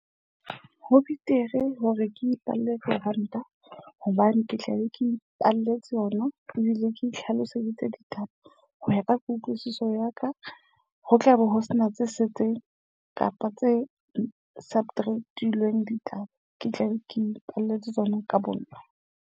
Ho betere hore ke ipalle diranta hobane ke tla be ke ipaballetse yona ebile ke nhlaloseditse ditaba. Ho ya ka kutlwisiso ya ka ho tlabe ho sena tse setseng kapa tse subtract-ilweng ditaba. Ke tla be ke ipaballetse tsona ka bonna.